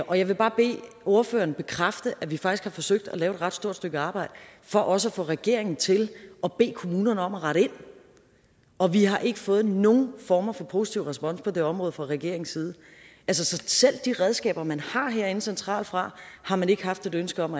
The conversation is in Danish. og jeg vil bare bede ordføreren bekræfte at vi faktisk har forsøgt at lave et ret stort stykke arbejde for også at få regeringen til at bede kommunerne om at rette ind og vi har ikke fået nogen former for positiv respons på det her område fra regeringens side så selv de redskaber man har herinde centralt fra har man ikke haft et ønske om